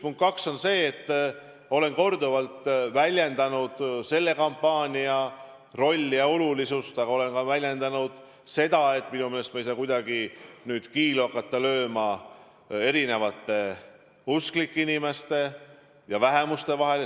Punkt kaks on see, et olen korduvalt väljendanud arvamust, et see kampaania oli oluline, aga ma olen väljendanud ka seda, et minu meelest me ei tohi kuidagi hakata lööma kiilu usklike inimeste ja vähemuste vahele.